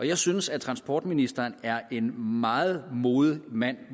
jeg synes at transportministeren er en meget modig mand